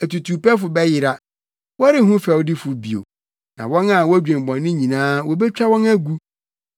Atutuwpɛfo bɛyera, wɔrenhu fɛwdifo bio, na wɔn a wodwen bɔne nyinaa, wobetwa wɔn agu,